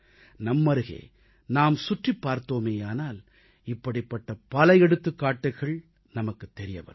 நம்மருகே நாம் சுற்றிப் பார்த்தோமேயானால் இப்படிப்பட்ட பல எடுத்துக்காட்டுகள் நமக்குத் தெரியவரும்